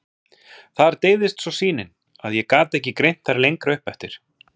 Þar deyfðist svo sýnin, að ég gat ekki greint þær lengra upp eftir.